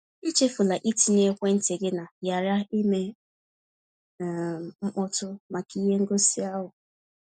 Echefula itinye ekwentị gị na ‘ghara ime um mkpọtụ’ maka ihe ngosi ahụ.